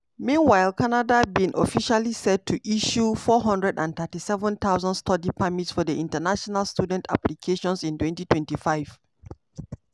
meanwhile canada bin officially set to issue 437000 study permits for international students applications in 2025.